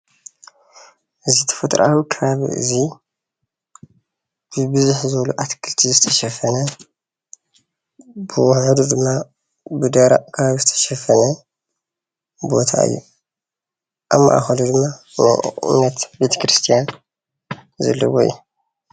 እዚ ተፈጥሮኣዊ ከባቢ እዙይ ብብዙሕ ዝበሉ ኣትክልቲ ዝተሸፈነ ብውሑዱ ድማ ብደረቅ ከባቢ ዝተሸፈነ ቦታ እዩ፡፡ ኣብ ማእከሉ ድማ ናይ እምነት ቤተ ክርስትያን ዘለዎ እዩ፡፡